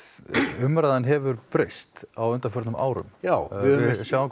umræðan hefur breyst á undanförnum árum já við sjáum